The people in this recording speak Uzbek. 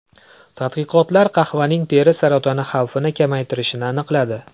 Tadqiqotlar qahvaning teri saratoni xavfini kamaytirishini aniqladi.